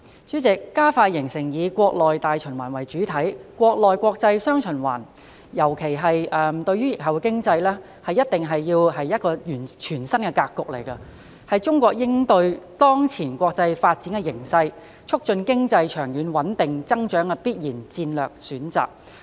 主席，加快形成以國內大循環為主體、國內國際"雙循環"，特別是對疫後經濟而言，必然是一個全新格局，是中國應對當前國際發展形勢、促進經濟長遠穩定增長的必然戰略選擇。